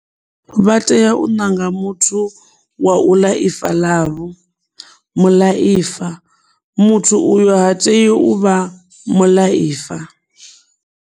Vha tea u ṋanga muthu wa uḽa ifa ḽavho, muḽaifa. Muthu uyo ha tei u vha muḽaifa.